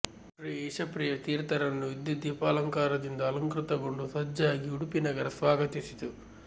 ಶ್ರೀ ಈಶಪ್ರಿಯ ತೀರ್ಥರನ್ನು ವಿದ್ಯುದ್ದೀಪಾಲಂಕಾರದಿಂದ ಅಲಂಕೃತ ಗೊಂಡು ಸಜ್ಜಾಗಿ ಉಡುಪಿ ನಗರ ಸ್ವಾಗತಿಸಿತು